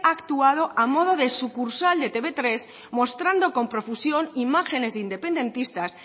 ha actuado a modo de sucursal de te uve tres mostrando con profusión imágenes de independentistas